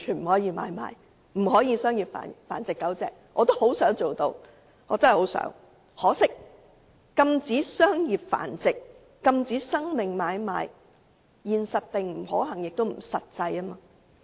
我真的十分希望能夠做得到，只可惜禁止商業繁殖、禁止生命買賣，現實並不可行，也不實際。